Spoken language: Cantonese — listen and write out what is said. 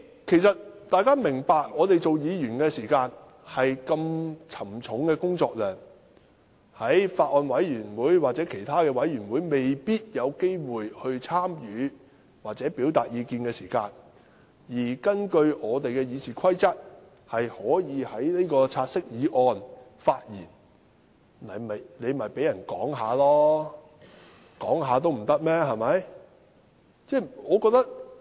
其實大家要明白，我們作為議員，工作量這麼沉重，在法案委員會或其他委員會未必有機會參與或表達意見時，可根據《議事規則》就"察悉議案"發言，那便讓議員發言吧，連發言也不准嗎？